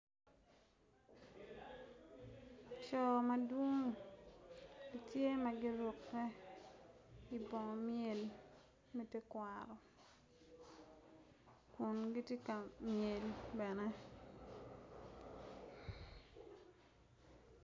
Coo madwong gitye ma giruke igang myel me tekwaro kun gitye kamyel bene